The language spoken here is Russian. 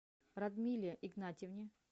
радмиле игнатьевне